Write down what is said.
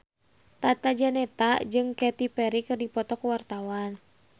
Tata Janeta jeung Katy Perry keur dipoto ku wartawan